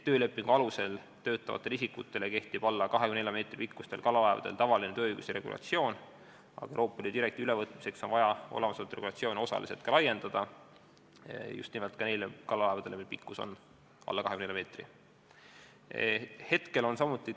Töölepingu alusel töötavate isikute kohta kehtib alla 24 meetri pikkustel kalalaevadel tavaline tööõiguse regulatsioon, aga Euroopa Liidu direktiivi ülevõtmiseks on vaja olemasolevat regulatsiooni osaliselt laiendada, pidades silmas just nimelt ka neid kalalaevu, mille pikkus on alla 24 meetri.